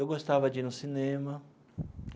Eu gostava de ir no cinema.